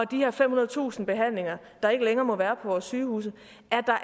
de her femhundredetusind behandlinger der ikke længere må være på vores sygehuse